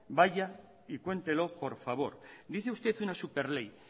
vaya y cuéntelo por favor dice usted una superley